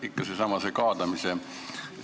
Ikka seesama kaadamise teema.